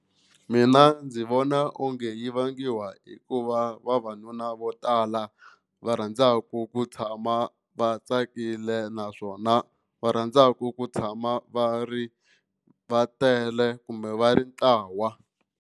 Mina ndzi vona onge yi vangiwa hikuva vavanuna vo tala va rhandzaka ku tshama va tsakile naswona va rhandzaka ku tshama va ri va tele kumbe va ri ntlawa.